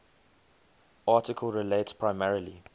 article relates primarily